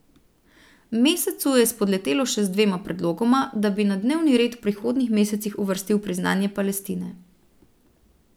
Mesecu je spodletelo še z dvema predlogoma, da bi na dnevni red v prihodnjih mesecih uvrstili priznanje Palestine.